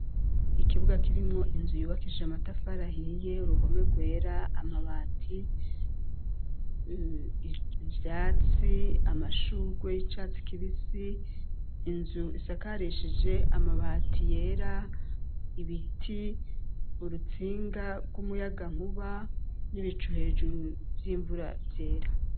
Ikibuga kirimwo inzu yubakisha amatafarahiiye uruhome rwera amabati ivyatsi amashurwe y'icatsi kibisi inzu isakarishije amabati yera ibiti urutsinga rw'umuyaga nkuba n'ibiwe icu hejuru vy'imvura vyera.